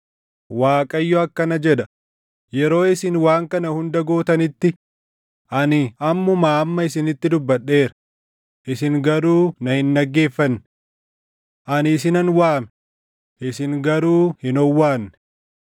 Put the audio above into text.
Waaqayyo akkana jedha: Yeroo isin waan kana hunda gootanitti, ani ammumaa amma isinitti dubbadheera; isin garuu na hin dhaggeeffanne. Ani isinan waame; isin garuu hin owwaanne.